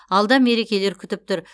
алда мерекелер күтіп тұр